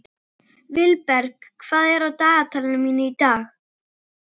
Vilberg, hvað er á dagatalinu mínu í dag?